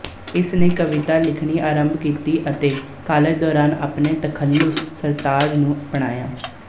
ਇਸ ਨੇ ਕਵਿਤਾ ਲਿਖਣੀ ਅਰੰਭ ਕੀਤੀ ਅਤੇ ਕਾਲਜ ਦੌਰਾਨ ਆਪਣੇ ਤਖ਼ਲੁਸ ਸਰਤਾਜ ਨੂੰ ਅਪਣਾਇਆ